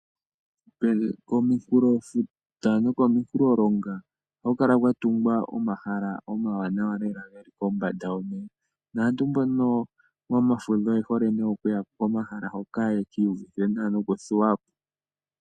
Kominkulofuta nokominkulolonga ohaku kala kwatungwa omahala omawanawa lela ge li kombanda yomeya, naantu